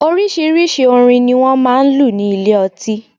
Oríṣiríṣi orin ni wọ́n máa ń lù ní ilé ọtí